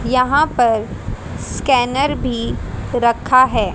यहाँ पर स्कैनर भी रखा है।